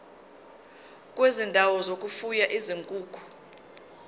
kwezindawo zokufuya izinkukhu